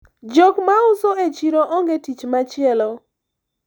jok mauso e chiro onge tich machielo